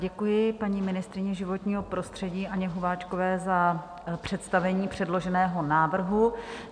Děkuji paní ministryni životního prostředí Anně Hubáčkové za představení předloženého návrhu.